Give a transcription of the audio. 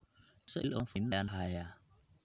imisa iimayl oo aan furnayn ayaan hadda hayaa